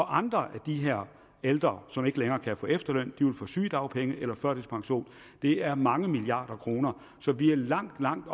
andre af de her ældre som ikke længere kan få efterløn vil få sygedagpenge eller førtidspension det er mange milliarder kroner så vi er langt langt